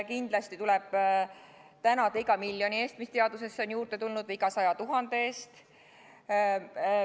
Kindlasti tuleb tänada iga miljoni eest, mis teadusesse on juurde tulnud, või iga saja tuhande eest.